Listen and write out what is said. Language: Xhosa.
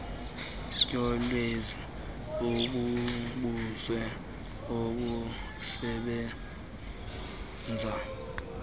yolwazi mbumbulu olusebenza